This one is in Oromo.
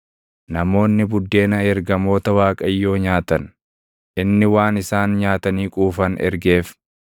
Namoonni buddeena ergamoota Waaqayyoo nyaatan; inni waan isaan nyaatanii quufan ergeef.